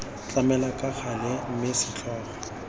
tlamelwa ka gale mme setlhogo